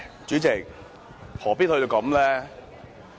主席，何必要這樣呢？